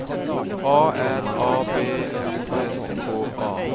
A R A B I S K A